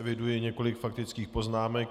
Eviduji několik faktických poznámek.